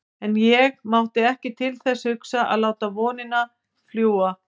En ég mátti ekki til þess hugsa að láta vonina fljúga.